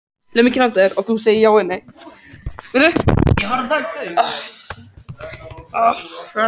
Þú ert að pakka músinni inn í hann!